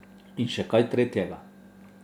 In še kaj tretjega.